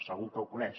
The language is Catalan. segur que ho coneix